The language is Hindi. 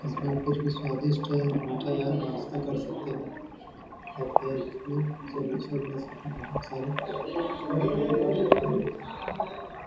इसमें कुछ भी सव्दिस्ट है मीठा है नास्ता कर सकते है बहुत सारे--